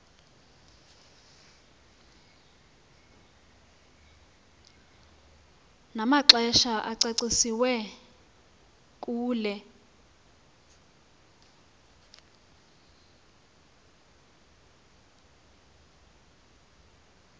namaxesha acacisiweyo kule